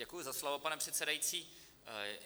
Děkuji za slovo, pane předsedající.